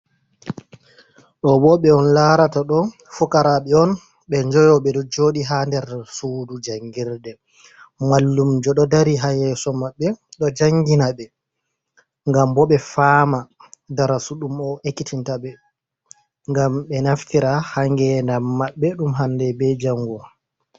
Ɗo bo ɓe on larata ɗo fokoraaɓe on ɓe joyo. Ɓe ɗo joɗi ha nder sudu jangirde. Mallum jo ɗo dari ha yeso maɓɓe ɗo jangina ɓe ngam bo ɓe fama darasu ɗum o ekkitinta ɓe ngam ɓe naftira ha ngedam maɓɓe ɗum hande be jango.